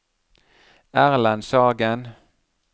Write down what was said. Erlend Sagen